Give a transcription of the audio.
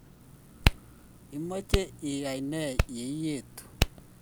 imache iyai nee ietu